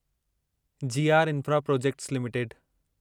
ji R infra projects limited